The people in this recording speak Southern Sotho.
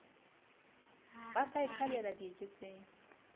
ba sa e thabela dieketseng